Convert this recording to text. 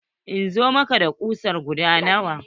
In zo maka da kusa guda nawa?